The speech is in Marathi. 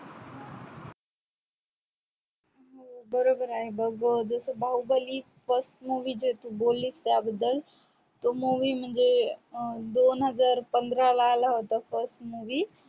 बरोबर बग जस बाहुबली first movie जो तू बोली अगोदर तो movie म्हणजे दोन हजार पंधराला आला होता first movie